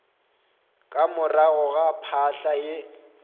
ka morago ga phahla ye